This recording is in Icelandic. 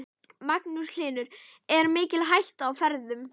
Magnús Hlynur: Er mikil hætta á ferðum?